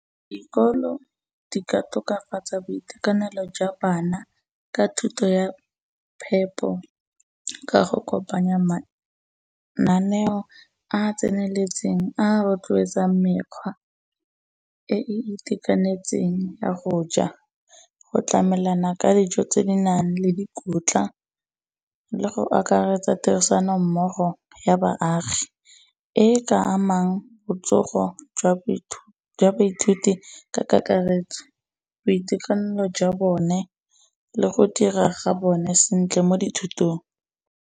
Dikolo di ka tokafatsa boitekanelo jwa bana, ka thuto ya phepo ka go kopanya mananeo a tseneletseng, a rotlwetsang mekgwa e e itekanetseng ya go ja, go tlamelana ka dijo tse di nang le dikotla le go akaretsa tirisanommogo ya baagi, e e ka amang botsogo jwa baithuti ka kakaretso, boitekanelo jwa bone le go dira ga bone sentle mo dithutong.